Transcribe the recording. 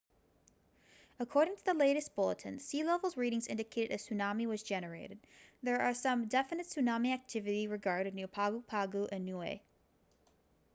according to the latest bulletin sea level readings indicated a tsunami was generated there was some definite tsunami activity recorded near pago pago and niue